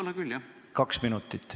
Võiks olla küll.